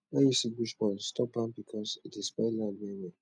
when you see bush burn stop am because e dey spoil land well well